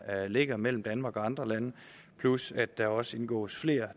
ligger mellem danmark og andre lande plus at der også indgås flere